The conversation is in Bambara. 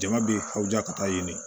Jama bi ha ka taa ɲini